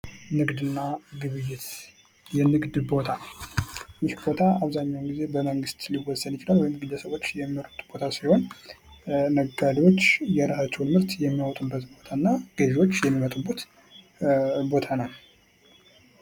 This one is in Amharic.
ንግድና ግብይት ፦ የንግድ ቦታ ፦ ይህ ቦታ አብዛኛውን ጊዜ በመንግስት ሊወሰን ይችላል ወይም ግለሰቦች የሚመርጡት ቦታ ሲሆን ነጋዴዎች የራሳቸውን ምርት የሚያወጡበት ቦታና ገዢዎች የሚመጡበት ቦታ ነው ።